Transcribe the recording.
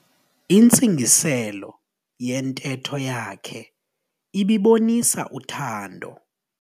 Intsingiselo yentetho yakhe ibibonisa uthando.